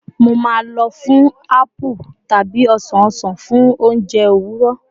Mo maa n lọ fun apple tabi osan osan fun ounjẹ owurọ